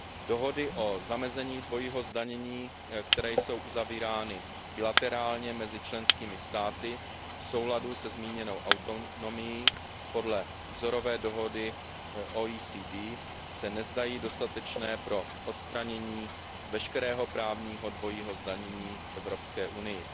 Dohody o zamezení dvojího zdanění, které jsou uzavírány bilaterálně mezi členskými státy v souladu se zmíněnou autonomií podle vzorové dohody OECD, se nezdají dostatečné pro odstranění veškerého právního dvojího zdanění v Evropské unii.